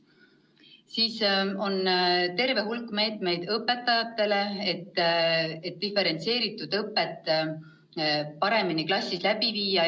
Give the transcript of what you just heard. Veel on terve hulk erinevaid koolitusi õpetajatele, et diferentseeritud õpet klassis paremini läbi viia.